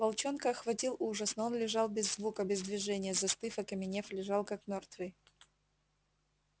волчонка охватил ужас но он лежал без звука без движения застыв окаменев лежал как мёртвый